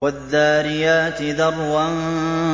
وَالذَّارِيَاتِ ذَرْوًا